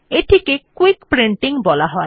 এটিকে quick printing বলা হয়